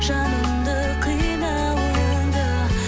жанымды қинауыңды